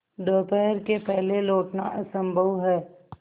दोपहर के पहले लौटना असंभव है